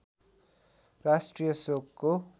राष्ट्रिय शोकको